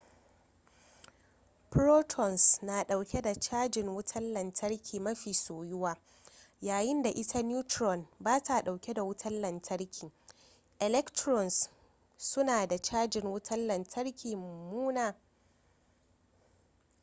protons na dauke da cajin wutan lantarki mafi soyuwa yayin da ita neutron bata dauke da wutan lantarki electrons suna da cajin wutan lantarki mummuna